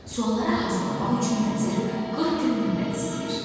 Sualları hazırlamaq üçün vəzir 40 gün möhlət istəyir.